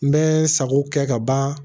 N bɛ sago kɛ ka ban